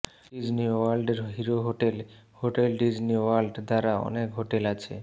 Disney ওয়ার্ল্ডের hero hotel hotel Disney World দ্বারা অনেক হোটেল আছে